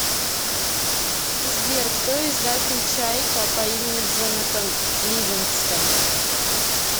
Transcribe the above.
сбер кто издатель чайка по имени джонатан ливингстон